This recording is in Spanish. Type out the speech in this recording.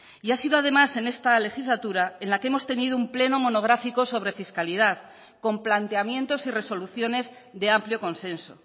y ha sido además en esta legislatura en la que hemos tenido un pleno monográfico sobre fiscalidad con planteamientos y resoluciones de amplio consenso